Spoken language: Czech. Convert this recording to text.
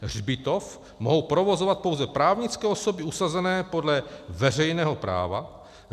Hřbitov mohou provozovat pouze právnické osoby usazené podle veřejného práva.